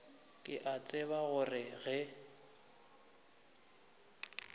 ke a tseba gore ge